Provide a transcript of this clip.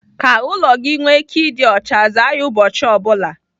Ka ụlọ gị nwee ike ịdị ọcha, zaa ya ụbọchị ọ bụla.